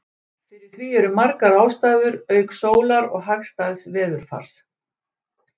Fyrir því eru margar ástæður auk sólar og hagstæðs veðurfars.